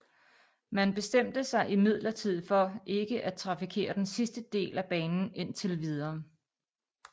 Man bestemte sig imidlertid for ikke at trafikere den sidste del af banen indtil videre